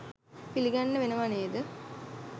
පිළිගන්න වෙනවා නේද?